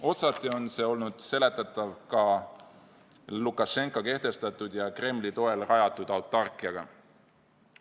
Otsati on see olnud seletatav ka Lukašenka kehtestatud ja Kremli toel rajatud autarkiaga.